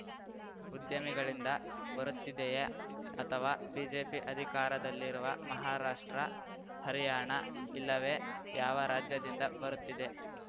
ಉದ್ಯಮಿಗಳಿಂದ ಬರುತ್ತಿದೆಯಾ ಅಥವಾ ಬಿಜೆಪಿ ಅಧಿಕಾರದಲ್ಲಿರುವ ಮಹಾರಾಷ್ಟ್ರ ಹರಿಯಾಣ ಇಲ್ಲವೇ ಯಾವ ರಾಜ್ಯದಿಂದ ಬರುತ್ತಿದೆ